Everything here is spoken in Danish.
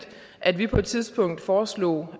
at vi på et tidspunkt foreslog